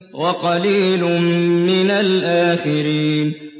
وَقَلِيلٌ مِّنَ الْآخِرِينَ